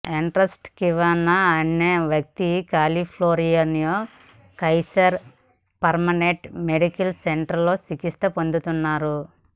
Ernest Quintana అనే వ్యక్తి కాలిఫోర్నియాలోని కైసర్ పర్మనెంట్ మెడికల్ సెంటర్లో చికిత్స పొందుతున్నారు